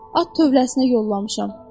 At tövləsinə yollamışam.